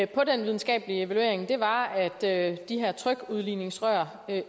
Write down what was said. den videnskabelige evaluering var at de her trykudligningsrør